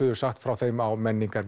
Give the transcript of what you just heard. sagt frá þeim á